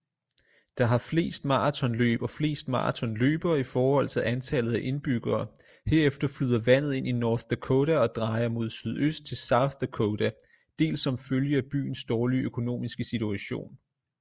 Der har flest maratonløb og flest maratonløbere i forhold til antallet af indbyggereHerefter flyder vandet ind i north dakota og drejer mod sydøst til south dakotaDels som følge af byens dårlige økonomiske situation